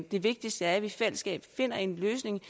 det vigtigste er at vi i fællesskab finder en løsning